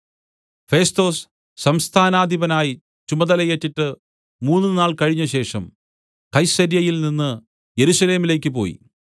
ഫെസ്തൊസ് സംസ്ഥാനാധിപനായി ചുമതലയേറ്റിട്ട് മൂന്നുനാൾ കഴിഞ്ഞശേഷം കൈസര്യയിൽനിന്ന് യെരൂശലേമിലേക്കു പോയി